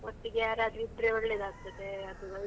ಒಟ್ಟಿಗೆ ಯಾರಾದ್ರೂ ಇದ್ರೆ ಒಳ್ಳೇದಾಗ್ತದೆ ಅದು ನಂಗೆ .